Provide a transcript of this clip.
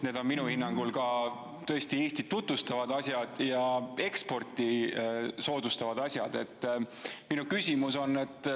Need on minu hinnangul tõesti Eestit tutvustavad ja eksporti soodustavad asjad.